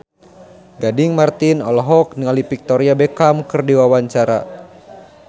Gading Marten olohok ningali Victoria Beckham keur diwawancara